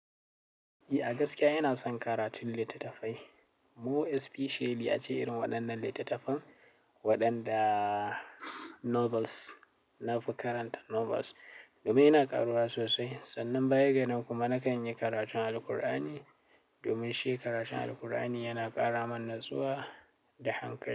Ni a gaskiya inason karatun littatafai more especially ace irin waɗannan littattafan waɗanda novels, na fi karanta novels. Domin ina karuwa sosai. Sannan baya ganan kuma nakan yi karatun Alqur'ani. Domin shi karatun Alqur'ani yana ƙara mana natsuwa da hankali.